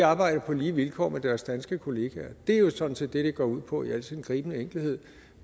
arbejder på lige vilkår med deres danske kollegaer det er jo sådan set det det går ud på i al sin gribende enkelhed